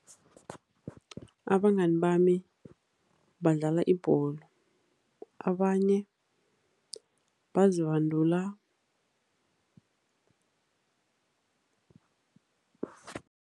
Abangani bami badlala ibholo, abanye bazibandula.